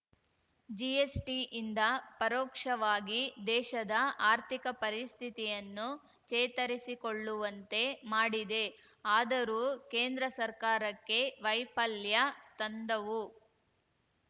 ಜಿಎಸ್‌ಟಿಯಿಂದ ಪರೋಕ್ಷವಾಗಿ ದೇಶದ ಆರ್ಥಿಕ ಪರಿಸ್ಥಿತಿಯನ್ನು ಚೇತರಿಸಿಕೊಳ್ಳುವಂತೆ ಮಾಡಿದೆ ಆದರೂ ಕೇಂದ್ರ ಸರ್ಕಾರಕ್ಕೆ ವೈಫಲ್ಯ ತಂದವು